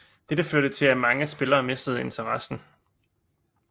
Dette førte til at mange spillere mistede interessen